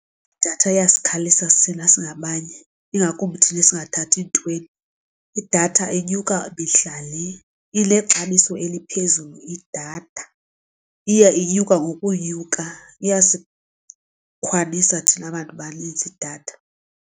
Idatha iyasikhalisa thina singabanye ingakumbi thina esingathathi ntweni. Idatha inyuka mihla le inexabiso eliphezulu idatha. Iya inyuka ngokunyuka iyasikhalisa thina bantu banintsi idatha.